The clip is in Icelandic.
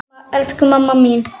Mamma, elsku mamma mín.